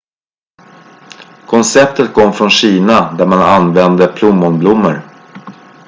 konceptet kom från kina där man använde plommonblommor